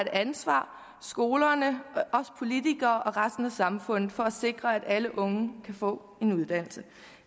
ansvar skolerne os politikere og resten af samfundet for at sikre at alle unge kan få en uddannelse